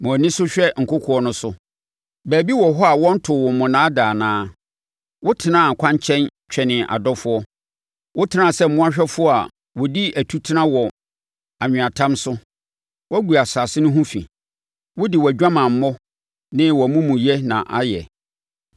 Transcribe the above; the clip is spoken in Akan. “Ma wʼani so hwɛ nkokoɔ no so. Baabi wɔ hɔ a wɔntoo wo monnaa da anaa? Wotenaa kwankyɛn twɛnee adɔfoɔ, wotenaa sɛ mmoahwɛfoɔ a wɔdi atutena wɔ anweatam so. Woagu asase no ho fi wode wʼadwamammɔ ne wʼamumuyɛ na ayɛ.